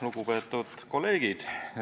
Lugupeetud kolleegid!